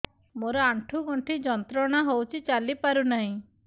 ମୋରୋ ଆଣ୍ଠୁଗଣ୍ଠି ଯନ୍ତ୍ରଣା ହଉଚି ଚାଲିପାରୁନାହିଁ